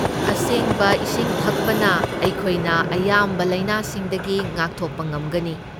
ꯑꯁꯦꯡꯕ ꯏꯁꯤꯡ ꯊꯛꯄꯅ, ꯑꯩꯈꯣꯏꯅ ꯑꯌꯥꯝꯕ ꯂꯥꯏꯅꯥꯁꯤꯡꯗꯒꯤ ꯉꯥꯛꯊꯣꯛꯄ ꯉꯝꯒꯅꯤ꯫